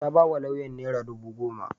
Ta ba wa lauyan naira dubu goma.